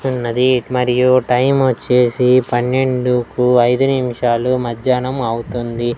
ఉన్నది మరియు టైం వచ్చేసి పన్నెండుకు అయిదు నిమిషాలు మజ్జానం అవుతుంది.